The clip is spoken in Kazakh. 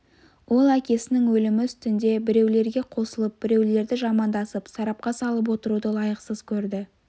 ол әкесінің өлімі үстінде біреулерге қосылып біреулерді жамандасып сарапқа салып отыруды лайықсыз көрді